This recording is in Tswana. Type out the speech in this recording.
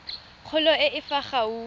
kgolo e e fa gaufi